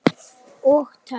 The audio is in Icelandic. Og töff.